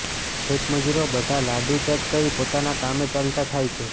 ખેતમજૂરો બધા લાડુ ચટ કરી પોતાના કામે ચાલતા થાય છે